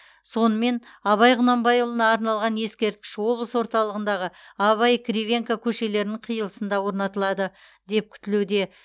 сонымен абай құнанбайұлына арналған ескерткіш облыс орталығындағы абай кривенко көшелерінің қиылысында орнатылады деп күтілуде